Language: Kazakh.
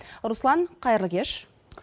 руслан қайырлы кеш